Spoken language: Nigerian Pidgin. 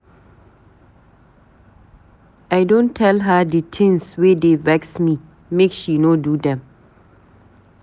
I don tell her di tins wey dey vex me, make she no do dem.